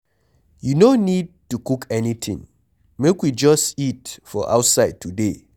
You no need to cook anything, make we just eat for outside today.